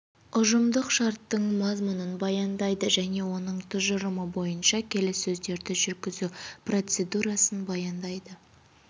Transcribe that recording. ұжымдық шарттың мазмұнын баяндайды және оның тұжырымы бойынша келіссөздерді жүргізу процедурасын баяндайды